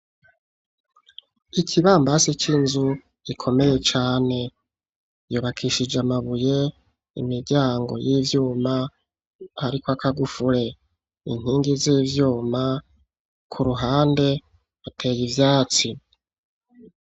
Ikibambazi c'inzu gikomeye cane. Cubakishijwe amabuye, imiryango y'ivyuma hariko akagufure, inkingi z'ivyuma. K'uruhande hateye ivyatsi.